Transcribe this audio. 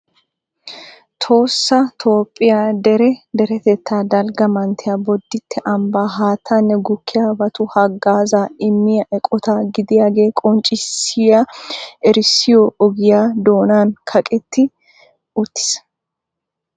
Tohossa Toophiyaa dere deretetta dalgga manttiya, Boditte ambbaa haattanne gukkiyaabatu hagaazza immiya eqqota gidiyaaga qonccissiya erissoy ogiyaa doonan kaqeti uttiis.